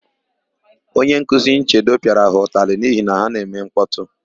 Onyenkuzi Nchedo pịara ha ụtalị n'ihi na ha na-eme nkpọtụ.